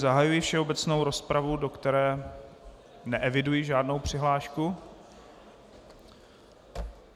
Zahajuji všeobecnou rozpravu, do které neeviduji žádnou přihlášku.